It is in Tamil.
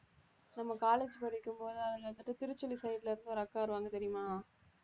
நம்ம college படிக்கும்போது அதில வந்துட்டு திருச்சி side ல இருந்து ஒரு அக்கா வருவாங்க தெரியுமா